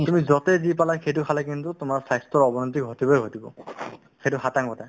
তুমি য'তে যি পালা সেইটো খালে কিন্তু তোমাৰ স্বাস্থ্যৰ অৱনতি ঘটিবয়ে ঘটিব সেইটো খাটাং কথা